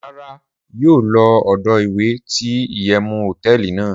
Rara, yio lo odo iwe ti iyewu hoteeli nàá